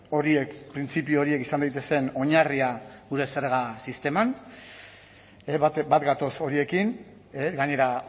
horiek printzipio horiek izan daitezen oinarria gure zerga sisteman bat gatoz horiekin gainera